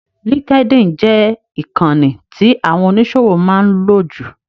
LinkedIn jẹ ìkànì tí àwọn oníṣòwò máa ń lò jù.